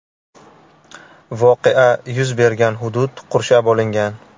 Voqea yuz bergan hudud qurshab olingan.